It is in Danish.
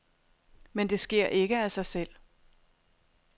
Men det sker ikke af sig selv.